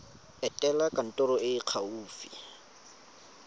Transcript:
etela kantoro e e gaufi